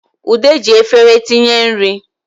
Ude ji efere tinye nri